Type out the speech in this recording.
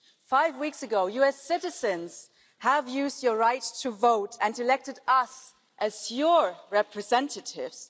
Five weeks ago you as citizens used your right to vote and elected us as your representatives.